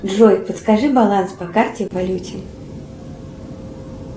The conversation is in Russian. джой подскажи баланс по карте в валюте